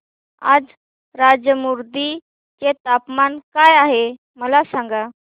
आज राजमुंद्री चे तापमान काय आहे मला सांगा